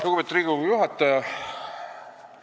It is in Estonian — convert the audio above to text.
Lugupeetud Riigikogu juhataja!